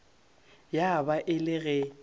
ya ba e le ge